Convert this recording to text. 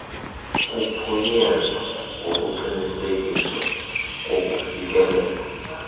kuphunyezwa ngokuqinisekiswa kokufikelela